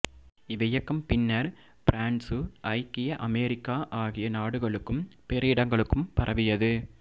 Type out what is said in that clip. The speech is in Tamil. இவ்வியக்கம் பின்னர் பிரான்சு ஐக்கிய அமெரிக்கா ஆகிய நாடுகளுக்கும் பிற இடங்களுக்கும் பரவியது